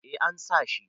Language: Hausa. eh an sa